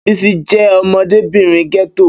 Bísí jẹ́ ọmọdébìnrin gẹ́tò